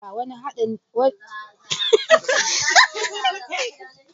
Uda: Kayan haɗin girki ne mai ƙamshi wanda ke ba miya da stew wani anɗano na musamman.